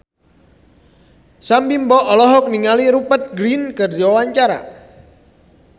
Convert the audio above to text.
Sam Bimbo olohok ningali Rupert Grin keur diwawancara